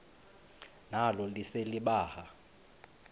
nalo lise libaha